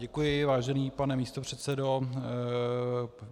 Děkuji, vážený pane místopředsedo.